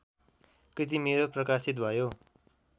कृति मेरो प्रकाशित भयो